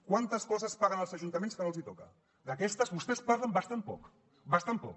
quantes coses paguen els ajuntaments que no els hi toca d’aquestes vostès en parlen bastant poc bastant poc